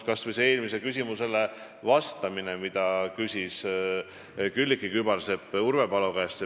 Võtame kas või vastuse eelmisele küsimusele, mille küsis Külliki Kübarsepp Urve Palo käest.